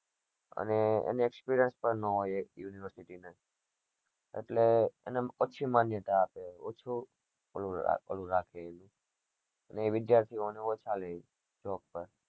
અને experience પણ ના હોય university ને એટલે એને ઓછી માન્યતા આપે ઓછો ઓલું ઓ રાખે ને એ વિદ્યાર્થી એવો ને એવો ચાલે job પર